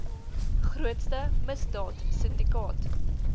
grootste misdaad sindikaat